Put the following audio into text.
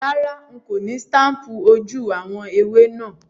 Rárá, n kò ni staple ojú àwon ẹwé náà